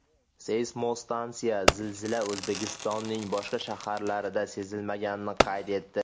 Seysmostansiya zilzila O‘zbekistonning boshqa shaharlarida sezilmaganini qayd etdi.